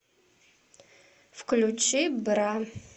включи бра